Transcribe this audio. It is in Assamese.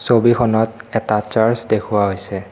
ছবিখনত এটা চাৰ্চ দেখুওৱা হৈছে।